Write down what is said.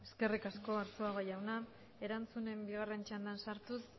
eskerrik asko arzuaga jauna erantzunen bigaren txandan sartuz